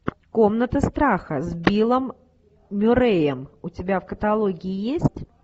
комната страха с биллом мюрреем у тебя в каталоге есть